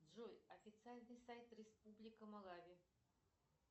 джой официальный сайт республика малави